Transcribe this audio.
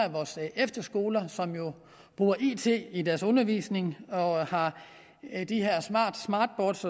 efterskoler som jo bruger it i deres undervisning og har smartboards